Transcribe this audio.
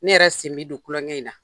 Ne yɛrɛ sin bi don klɔnkɛ in na.